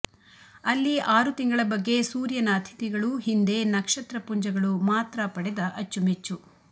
ಅಲ್ಲಿ ಆರು ತಿಂಗಳ ಬಗ್ಗೆ ಸೂರ್ಯನ ಅತಿಥಿಗಳು ಹಿಂದೆ ನಕ್ಷತ್ರಪುಂಜಗಳು ಮಾತ್ರ ಪಡೆದ ಅಚ್ಚುಮೆಚ್ಚು